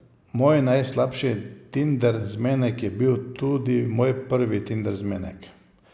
Moj najslabši tinder zmenek je bil tudi moj prvi tinder zmenek.